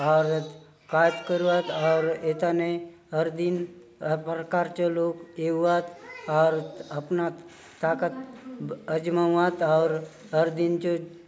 आउर कायतो करूआत आउर ये थाने हर दिन हर प्रकार चो लोग एउआत आउर अपना ताकत आजमाऊ आत आउर हर दिन चो --